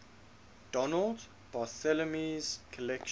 donald barthelme's collection